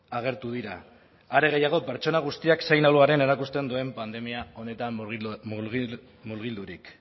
agertu dira are gehiago pertsona guztiak zein ahul garen erakusten duen pandemia honetan murgildurik